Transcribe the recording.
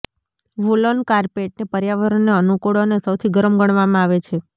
woollen કાર્પેટને પર્યાવરણને અનુકૂળ અને સૌથી ગરમ ગણવામાં આવે છે